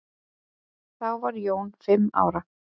Þá var Jón fimm ára.